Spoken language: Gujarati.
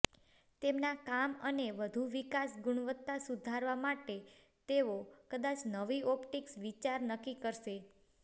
તેમના કામ અને વધુ વિકાસ ગુણવત્તા સુધારવા માટે તેઓ કદાચ નવી ઓપ્ટિક્સ વિચાર નક્કી કરશે